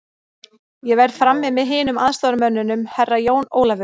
Ég verð frammi með hinum aðstoðarmönnunum, Herra Jón Ólafur.